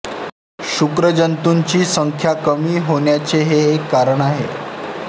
शुक्रजंतूंची संख्या कमी होण्याचे हे एक कारण आहे